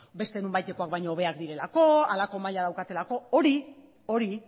beste nonbaitekoak baino hobeak direlako halako maila daukatelako hori